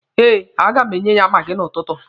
Eh, a ga m enye ya maagi n'ụtụtụ.